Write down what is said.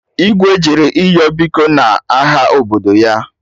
Igwe jere ịyọ biko n'aha obodo ya